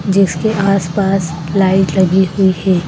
जिसके आस पास लाइट लगी हुई है।